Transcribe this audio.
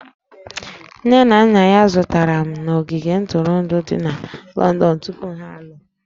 Nne na nna ya zutere na ogige ntụrụndụ dị na Lọndọn tupu ha alụọ